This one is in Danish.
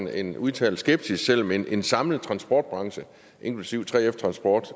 er en udtalt skepsis selv om en en samlet transportbranche inklusive 3f transport